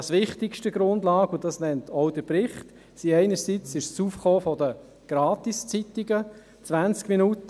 Wichtigster Grund – auch der Bericht nennt diesen – ist einerseits das Aufkommen der Gratiszeitungen wie «20 Minuten».